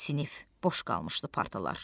Sinif boş qalmışdı partalar.